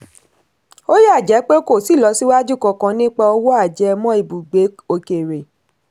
ó yà jẹ́ pé kò sí ìlọsíwájú kankan nípa òwò ajẹmọ́ ibùgbé òkèèrè.